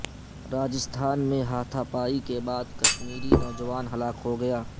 راجستھان میں ہاتھا پائی کے بعد کشمیری ایک نوجوان ہلاک ہوگیا